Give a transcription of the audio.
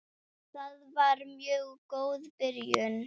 Það var mjög góð byrjun.